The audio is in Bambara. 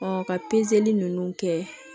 ka ninnu kɛ